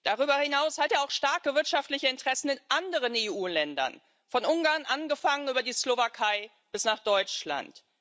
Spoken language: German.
Darüber hinaus hat er auch starke wirtschaftliche Interessen in anderen EU Ländern, von Ungarn angefangen über die Slowakei bis nach Deutschland.